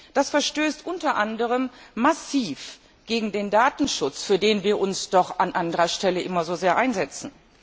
Das verstößt unter anderem massiv gegen den Datenschutz, für den wir uns doch an anderer Stelle immer so sehr einsetzen.